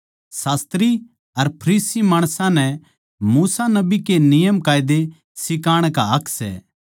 शास्त्री अर फरीसी मूसा नबी के नियमकायदे सिखाण का हक सै